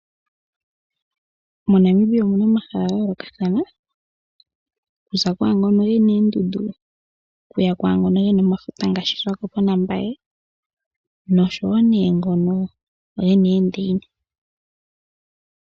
MoNamibia omu na omahala gayoolokathana, okuza kwaa ngoka ge na oondundu okuya kwaa ngoka ge na efuta ngaashi Swakopo naMbaye nosho wo nee ngono ge na oondeina.